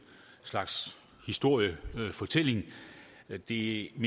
slags historiefortælling det